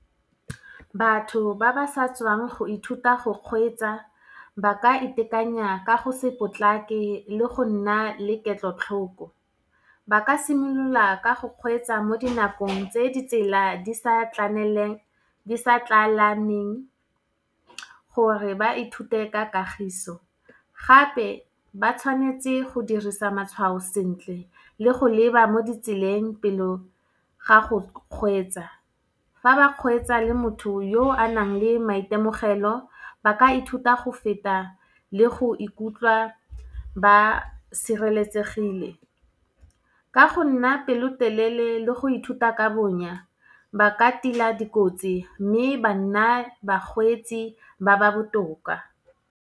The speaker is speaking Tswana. Batho ba ba sa tswang go ithuta go kgweetsa, ba ka itekanya ka go se potlake le go nna le ketlotlhoko. Ba ka simolola ka go kgweetsa mo dinakong tse di tsela di sa tlalaneng, gore ba ithute ka kagiso. Gape ba tshwanetse go dirisa matshwao sentle, le go leba mo ditseleng pelo ga go kgweetsa. Fa ba kgweetsa le motho yo a nang le maitemogelo, ba ka ithuta go feta le go ikutlwa ba sireletsegile. Ka go nna pelotelele le go ithuta ka bonya, ba ka tila dikotsi, mme ba nna bakgweetsi ba ba botoka.